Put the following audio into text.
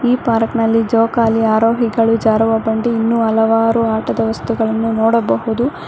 Park ನಲ್ಲಿ ಜೋಕಾಲಿ ಆರೋಹಿಗಳು ಜಾರುವ ಬಂಡೆ ಇನ್ನು ಹಲವಾರು ಆಟದ ವಸ್ತುಗಳನ್ನು ನೋಡಬಹುದು.